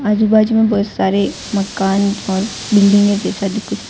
आजू बाजू में बहुत सारे मकान और बिल्डिंगे जैसा भी कुछ दिख --